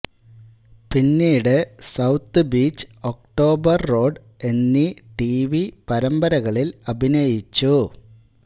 പിന്നീട് south beach October road എന്നീ TV പരമ്പരകളിൽ അഭിനയിച്ചു